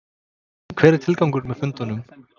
En hver er tilgangurinn með fundunum?